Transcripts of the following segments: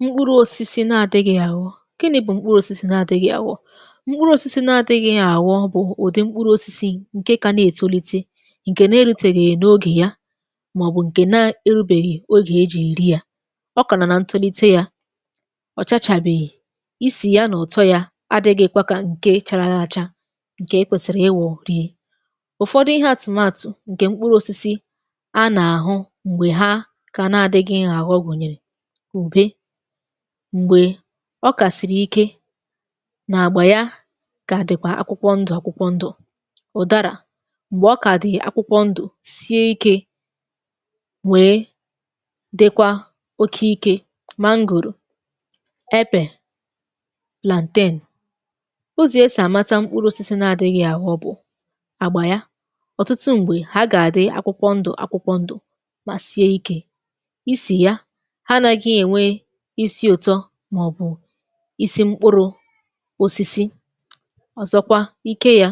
Mkpụrụ̇ osisi na-adịghị̇ ya àghọ. Gịnị bụ mkpụrụ̇ osisi na-adịghị̇ àghọ? Mkpụrụ̇ osisi na-adịghị̇ ya àghọ bụ̀ ùdị mkpụrụ̇ osisi ǹkè kà na-ètolite, ǹkè na-eruteghị n’ogè ya màọbụ̀ ǹkè na-erubèghì ogè ejì eri yà. Ọ kà nọ̀ na ntolite yȧ, ọ̀chachàbèghì, isì ya nà utọ ya adịgị̇ kwa kà ǹke chara acha, ǹkè ekwèsịrị ịwọ̇ rie. Ụfọdụ ihe àtụmatụ ǹkè mkpụrụ̇ osisi a na-àhụ m̀gbè ha kà na-adịgị̇ ya àghọ gùnyèrè, Ubé, mgbè ọ kàsìrì ike nà-àgbà ya kà dịkwa akwụkwọ ndụ̇ akwụkwọ ndụ̇, Ụ̀dàrà m̀gbè ọ kàdì akwụkwọ ndụ̇, sie ikė, wèe dịkwa oke ikė, Mangòrò, Epe,. Ụzọ e sì àmata mkpụrụosisi na-àdịghị àghọ bụ̀, àgbà ya, ọ̀tụtụ mgbè ha gà-àdị akwụkwọ ndụ̇, akwụkwọ ndụ̇, mà sie ikė, isi̇ ya anaghị enwe isi ụtọ, màọbụ̀ isi̇ mkpụrụ̇ osisi. Ọ̀zọkwa, ike yȧ,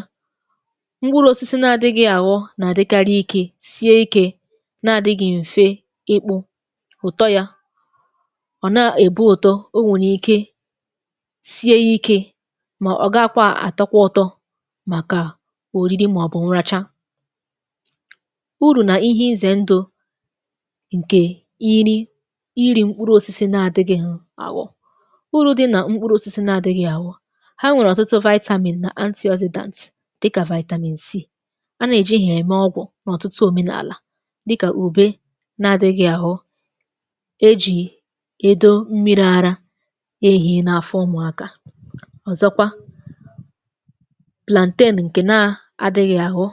mkpụrụ̇ osisi nà-adị̇gị àghọ nà-àdịkari ikė sie ikė nà-àdịgị̀ m̀fe ịkpụ ụ̀tọ yȧ. ọ̀ nà èbu ụ̀tọ, o nwèrè ike sie ikė mà ọ̀ ga kwa àtọkwa ụtọ màkà òriri màọbụ̇ nracha. Urù nà ihe izè ndụ ǹkè iri iri̇ mkpụrụ osisi na adịgị ho aghọ. Urù di nà mkpuru osisi na-àdịghị̀ àgho, ha nwèrè ọ̀tụtụ nà dị kà, a nà-èji hà-ème ọgwụ̀ nà ọ̀tụtụ omenààlà, dị kà ùbe na-adịghị̀ àhu, e jì èdo mmiri̇ ara ehi̇ na-afọ ụmụ̀akȧ. Ọ̀zọkwa, ǹkè na-adịghị̀ àghọ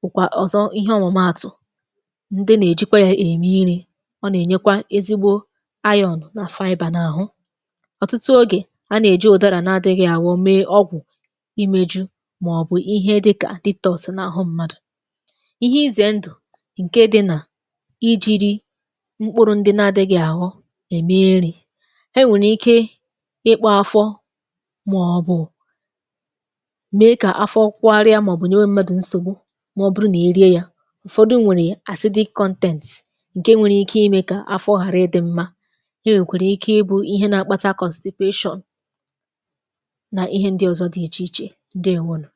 bụ̀ kwà ọ̀zọ ihe ọmụ̀maàtụ̀ ndi nà-èjikwa e èmi iri̇, ọ nà-ènyekwa ezigbo na na ahụ. Ọtụtụ ogè a nà-èji ụdara n’adịghị àghọ mee ọgwụ̀ imėju màọbụ̀ ihe dịkà na-àhụ mmadụ̀. Ihe izè ndụ̀ ǹke dị nà ijiri mkpụrụ ndị n’adịghị àghọ eme erì, e nwèrè ike ịkpụ̇ afọ, màọbụ̀ mee kà afọ kwọarịa màọbụ̀ nyewe mmadụ̀ nsògbu, maọbụ̀rụ nà-irie yȧ, ụ̀fọdụ nwèrè ǹke nwèrè ike imė kà afọ ghàra ịdị mma, onwe kwara ike ịbụ ihe nà-akpata, nà ihe ndị ọzọ̇ dị ichè ichè, ǹdeèwonu.